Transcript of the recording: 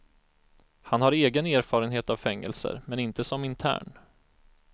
Han har egen erfarenhet av fängelser, men inte som intern.